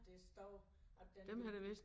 Der står at den har